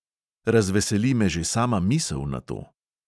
Razveseli me že sama misel na to.